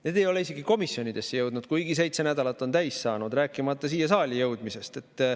Need ei ole isegi komisjonidesse jõudnud, kuigi seitse nädalat on täis saanud, rääkimata siia saali jõudmisest.